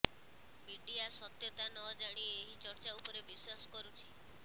media ସତ୍ୟତା ନ ଜାଣି ଏହି ଚର୍ଚ୍ଚା ଉପରେ ବିଶ୍ୱାସ କରୁଛି